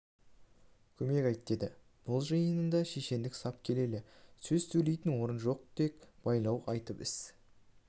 көмек айт деді бұл жиында шешендік сап келелі сөз сөйлейтін орын жоқ тек байлау айтып іс